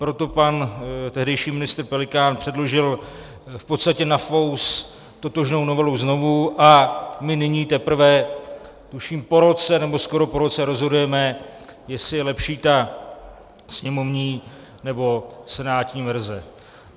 Proto pan tehdejší ministr Pelikán předložil v podstatě na fous totožnou novelu znovu a my nyní teprve, tuším po roce, nebo skoro po roce, rozhodujeme, jestli je lepší ta sněmovní, nebo senátní verze.